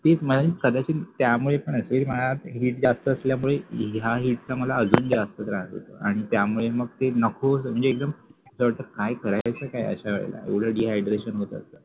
तेच कदाचित त्यामुळे पण असेल माझ्या मध्ये heat जास्त असल्यामुळे या heat चा मला अजून जास्त त्रास होतो आणि त्यामुळे मग ते नको म्हणजे एकदम काय करायचा काय अशावेळेला एवढं dehydration होतं